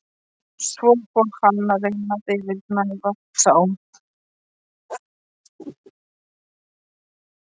Svo fór hann að reyna að yfirgnæfa þá.